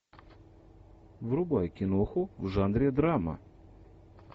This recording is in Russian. врубай киноху в жанре драма